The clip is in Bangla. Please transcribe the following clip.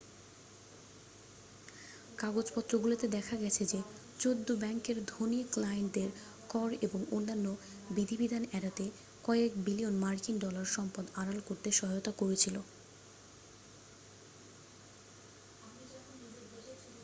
কাগজপত্রগুলোতে দেখা গেছে যে চৌদ্দ ব্যাংকে ধনী ক্লায়েন্টদের কর এবং অন্যান্য বিধিবিধান এড়াতে কয়েক বিলিয়ন মার্কিন ডলার সম্পদ আড়াল করতে সহায়তা করেছিল